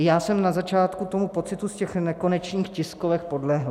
I já jsem na začátku tomu pocitu z těch nekonečných tiskovek podlehl.